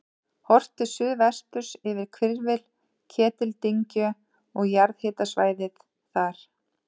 Horft til suðvesturs yfir hvirfil Ketildyngju og jarðhitasvæðið þar.